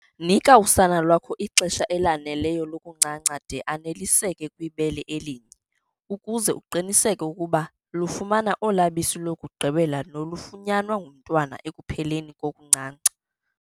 Nika usana lwakho ixesha elaneleyo lokuncanca de aneliseke kwibele elinye, ukuze uqiniseke ukuba lufumana ola bisi lokugqibela nolufunyanwa ngumntwana ekupheleni kokuncanca.